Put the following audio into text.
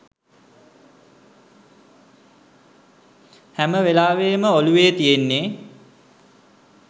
හැම වෙලාවේම ඔළුවේ තියෙන්නේ